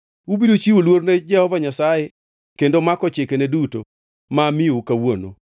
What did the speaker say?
Ubiro chiwo luor ne Jehova Nyasaye kendo mako chikene duto ma amiyou kawuono.